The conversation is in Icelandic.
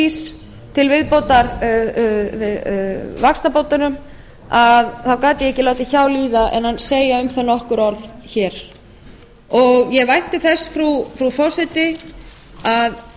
örflís til viðbótar vaxtabótunum þá gat ég ekki látið hjá líða en að segja um það nokkur orð hér ég vænti þess frú forseti að